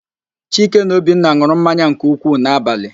Chike na Obinna n̄ụrụ mmanya nke ukwuu n'abalị.